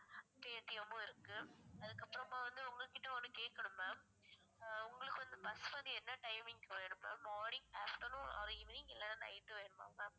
paytm மும் இருக்கு அதுக்கு அப்புறமா வந்து உங்களுகிட்ட ஒண்ணு கேட்கணும் ma'am ஆ உங்களுக்கு வந்து bus வந்து என்ன timing morning afternoon or evening இல்லைன்னா night வேணுமா ma'am